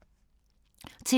TV 2